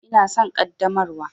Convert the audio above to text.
Ina son ƙaddamarwa.